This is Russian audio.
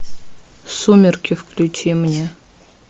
сумерки включи мне